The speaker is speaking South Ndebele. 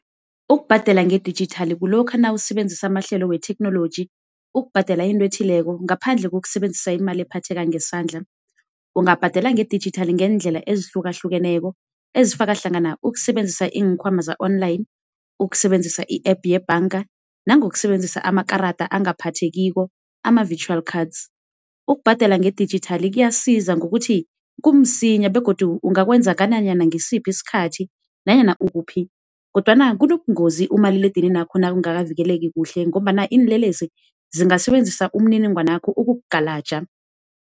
Ukubhadela nge-digital kulokha nawusebenzisa amahlelo wetheknoloji ukubhadela into ethileko ngaphandle kokusebenzisa imali ephatheka ngesandla. Ungabhadela nge-digital ngeendlela ezihlukahlukeneko ezifaka hlangana ukusebenzisa iikhwama za-online, ukusebenzisa i-app yebhanga, nangokusebenzisa amakarada angaphathekiko ama-vitual cards. Ukubhadela nge-digital kuyasiza ngokuthi kumsinya begodu ungakwenza ngananyana ngisiphi isikhathi nanyana ukuphi, kodwana kubonungozi umaliledininakho nakangakavikeleki kuhle ngombana iinlelesi zingasebenzisa imininingwanakho ukukugalaja.